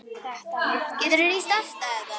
Þetta virðist vera rétt.